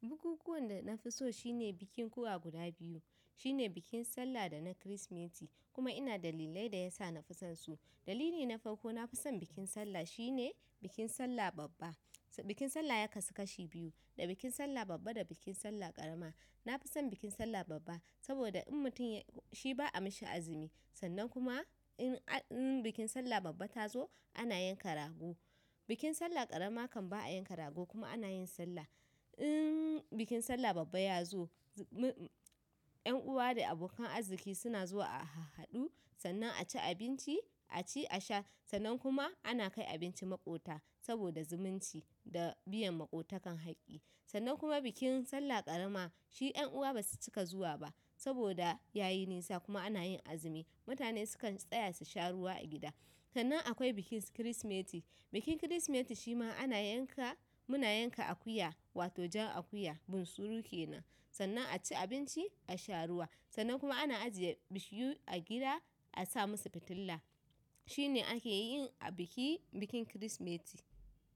Bukukuwan da na fi so shine bikin ƙuwa guda biyu, shine bikin Sallah da na Kirsimeti kuma ina da illai da ya sa na fi son su. Dalili na farko na fi son bikin Sallah shine bikin Sallah babba. Bikin Sallah ya kasu kashi biyu, da bikin Sallah babba da bikin Sallah ƙarama. Na fi son bikin Sallah babba saboda in mutum shi ba a mishi azumi, sannan kuma in bikin Sallah babba ta zo ana yanka rago. Bikin Sallah ƙarama kan ba a yanka rago kuma ana yin Sallah. In bikin Sallah babba ya zo, ƴan uwa da abokan arziki suna zuwa a hahadu sannan a ci abinci, a ci a sha sannan kuma ana kai abinci maƙota saboda zumunci da biyan maƙota kan haƙƙi. Sannan kuma bikin Sallah ƙarama shi ƴan uwa ba su cika zuwa ba saboda yayi nisa kuma ana yin azumi. Mutane sukan tsaya su sha ruwa a gida. Sannan akwai bikin su Kirsimeti. Bikin Kirsimeti shi ma ana yanka, muna yanka akuya wato jan akuya bunsuru kenan sannan a ci abinci, a sha ruwa sannan kuma ana ajiye bishiyu a gida a sa masa fitila. Shine ake yin a biki, bikin Kirsimeti.